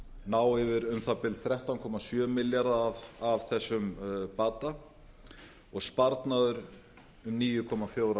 ná yfir um það bil þrettán komma sjö milljarða af þessum bata og sparnaður um níu komma fjórir